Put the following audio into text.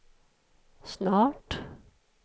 snart